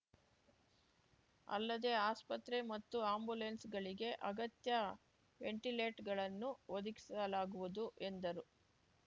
ಅಲ್ಲದೆ ಆಸ್ಪತ್ರೆ ಮತ್ತು ಆಯಂಬುಲೆನ್ಸ್‌ಗಳಿಗೆ ಅಗತ್ಯ ವೆಂಟಿಲೇಟ್ ಗಳನ್ನು ಒದಗಿಸಲಾಗುವುದು ಎಂದರು